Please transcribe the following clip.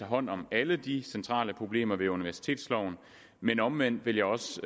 hånd om alle de centrale problemer ved universitetsloven men omvendt vil jeg også